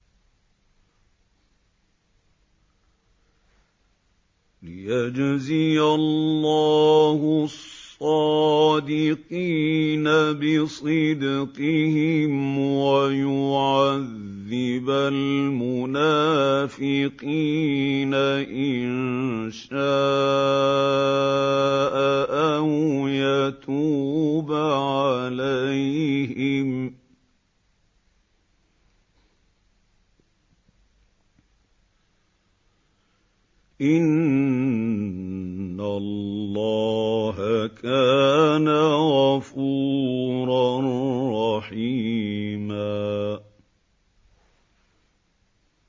لِّيَجْزِيَ اللَّهُ الصَّادِقِينَ بِصِدْقِهِمْ وَيُعَذِّبَ الْمُنَافِقِينَ إِن شَاءَ أَوْ يَتُوبَ عَلَيْهِمْ ۚ إِنَّ اللَّهَ كَانَ غَفُورًا رَّحِيمًا